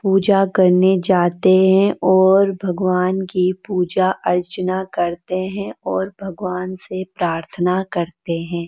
पूजा करने जाते हैं और भगवान की पूजा अर्चना करते हैं और भगवान से प्रार्थना करते हैं।